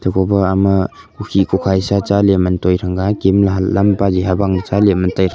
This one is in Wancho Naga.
Kobo ama khukhi kukhai sha chaley mantoi thanga gemla hatlam paje habang chale mantai--